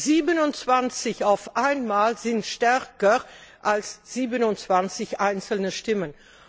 27 gemeinsam sind stärker als 27 einzelne Stimmen.